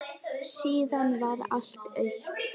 Síðan varð allt autt.